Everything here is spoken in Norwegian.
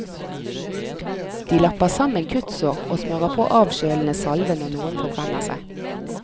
De lapper sammen kuttsår og smører på avkjølende salve når noen forbrenner seg.